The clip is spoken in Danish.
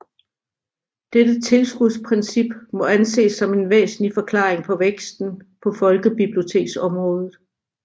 Dette tilskudsprincip må anses som en væsentlig forklaring på væksten på folkebiblioteksområdet